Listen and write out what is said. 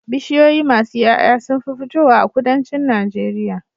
Bishiyoyi masu Yaya sunfi fitowa a kudancin nageria